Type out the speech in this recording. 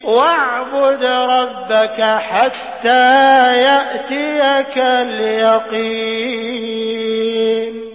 وَاعْبُدْ رَبَّكَ حَتَّىٰ يَأْتِيَكَ الْيَقِينُ